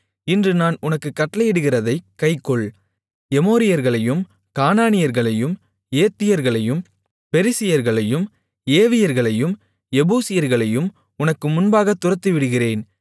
இன்று நான் உனக்குக் கட்டளையிடுகிறதைக் கைக்கொள் எமோரியர்களையும் கானானியர்களையும் ஏத்தியர்களையும் பெரிசியர்களையும் ஏவியர்களையும் எபூசியர்களையும் உனக்கு முன்பாகத் துரத்திவிடுகிறேன்